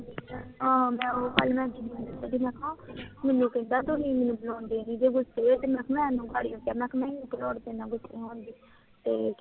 ਹਾਂ, ਮੈਨੂੰ ਕਹਿੰਦਾ ਤੁਸੀਂ ਮੈਨੂੰ ਬੁਲਾਉਂਦੇ ਨੀ, ਗੁੱਸੇ ਜੇ? ਮੈਂ ਕਿਹਾ ਮੈਨੂੰ ਕਿ ਲੋੜ ਤੇਰੇ ਨਾਲ ਗੁੱਸੇ ਹੋਣ ਦੀ? ਤੇ